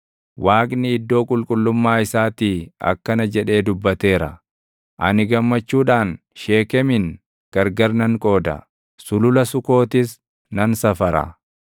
Waaqni iddoo qulqullummaa isaatii akkana jedhee dubbateera: “Ani gammachuudhaan Sheekemin gargar nan qooda; Sulula Sukootis nan safara.